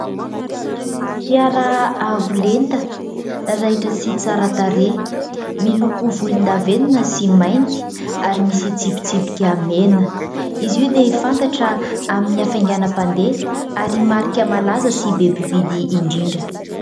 Fiara avo lenta raitra sy tsara tarehy, miloko volon-davenona sy mainty ary misy tsipitsipika mena. Izy io dia fantatra amin'ny hafainganam- pandeha, ary marika malaza sy be mpividy indrindra.